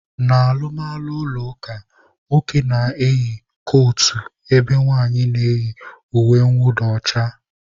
N'alụmalụ ụlọ ụka, nwoke na-eyi kotu ebe nwaanyị na-eyi uwe nwụda ọcha.